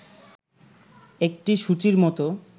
একটি সূচীর মত